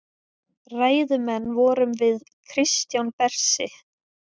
Ræðumenn vorum við Kristján Bersi